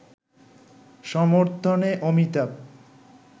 সমর্থনে অমিতাভ